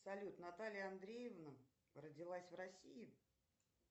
салют наталья андреевна родилась в россии